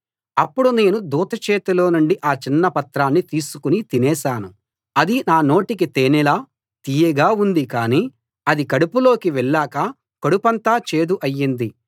అప్పుడు నేను దూత చేతిలో నుండి ఆ చిన్న పత్రాన్ని తీసుకుని తినేశాను అది నా నోటికి తేనెలా తియ్యగా ఉంది కానీ అది కడుపులోకి వెళ్ళాక కడుపంతా చేదు అయింది